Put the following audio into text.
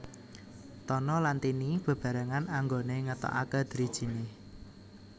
Tono lan Tini beberangan anggone ngetokake drijine